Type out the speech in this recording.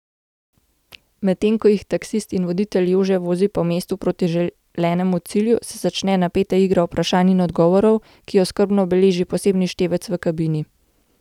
Medtem ko jih taksist in voditelj Jože vozi po mestu proti želenemu cilju, se začne napeta igra vprašanj in odgovorov, ki jo skrbno beleži posebni števec v kabini.